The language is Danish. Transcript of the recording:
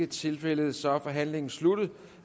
ikke tilfældet så er forhandlingen sluttet